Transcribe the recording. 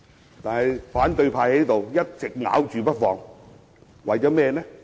然而，反對派卻一直咬着不放。